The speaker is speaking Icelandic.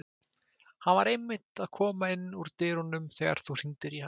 Hann var einmitt að koma inn úr dyrunum þegar þú hringdir hann